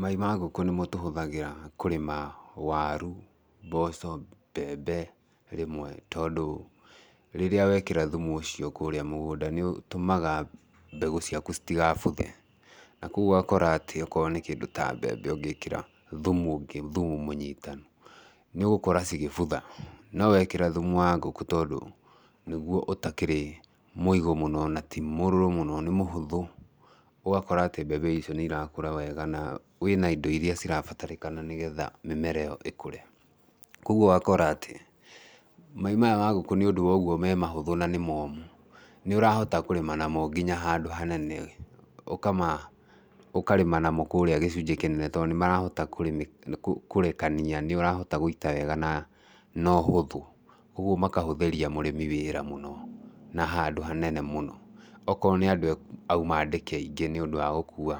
Mai ma ngũkũ nĩmo tũhũthagĩra kũrĩma waru, mboco, mbembe, rĩmwe tondũ rĩrĩa wekĩra thumu ũcio kũrĩa mũgũnda nĩ ũtũmaga mbegũ ciaku citigabuthe, na koguo ũgakora atĩ okorwo nĩ kĩndũ ta mbembe ũngĩkĩra thumu ũngĩ thumu mũnyitanu, nĩũgũkora cigĩbutha, no wekĩra thumu wa ngũkũ tondũ nĩguo ũtakĩrĩ mũigũ mũno, na ti mũrũrũ mũno nĩ mũhũthũ, ũgakora tĩ mbembe icio nĩ irakũra wega na wĩna indo iria cirabatarĩkana nĩgetha mĩmera ĩyo ĩkũre. Koguo ũgakora atĩ, mai maya ma ngũkũ nĩũndũ wa ũguo me mahũthũ na nĩ momũ, nĩ ũrahota kũrĩma namo nginya handũ hanene ũkama ũkarĩma namo kũrĩa gĩcunjĩ kĩnene, tondũ nĩ marahota kũrĩmĩka kũrĩmĩkania, nĩ ũrahota gũita wega na na ũhũthũ, ũguo makahũthĩria mũrĩmi wĩra mũno na handũ hanene mũno, akorwo nĩ andũ auma andĩke aingĩ nĩũndũ wa gũkua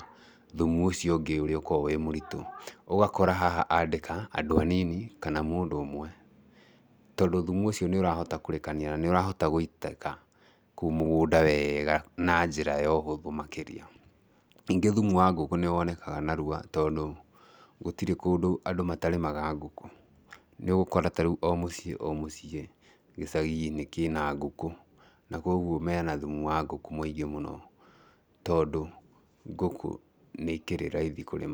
thumu ũcio ũngĩ ũrĩa ũkoragwo wĩ mũritũ, ũgakora haha andĩka andũ anini kana mũndũ ũmwe tndũ thumu ũcio nĩ ũrahota kũrekania na nĩ ũrahota gũitĩka kũu mũgũnda wega na njĩra ya ũhũthũ makĩria. Ningĩ thumu wa ngũkũ nĩ wonekaga narua tondũ, gũtirĩ kũndũ andũ matarĩmaga ngũkũ, nĩũgũkora ta rĩu o mũciĩ o mũciĩ gĩcagi-inĩ kĩna ngũkũ, na koguo mena thumu wa ngũkũ mũingĩ mũno tondũ ngũkũ nĩ ikĩrĩ raithi kũrĩma.